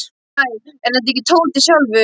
Hæ, er þetta ekki Tóti sjálfur?